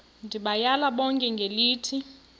ndibayale bonke ngelithi